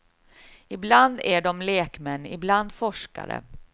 Ibland är de lekmän, ibland forskare.